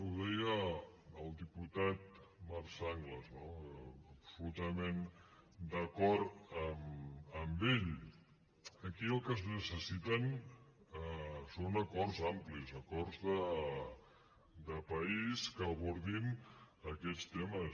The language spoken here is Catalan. ho deia el diputat marc sanglas no absolutament d’acord amb ell aquí el que es necessita són acords amplis acords de país que abordin aquests temes